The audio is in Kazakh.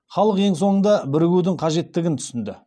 халық ең соңында бірігудің қажеттігін түсінді